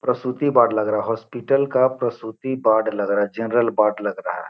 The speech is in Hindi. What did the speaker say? प्रस्तुति वार्ड लग रहा हॉस्पिटल का प्रस्तुति वार्ड लग रहा है जनरल वार्ड लग रहा है |